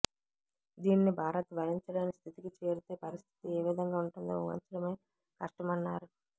దీనిని భారత్ భరించలేని స్థితికి చేరితే పరిస్థితి ఏ విధంగా ఉంటుందో వూహించడమే కష్టమన్నారు